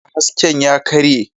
Fitilla hasken ya karye.